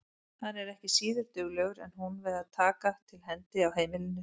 Hann er ekki síður duglegur en hún við að taka til hendi á heimilinu.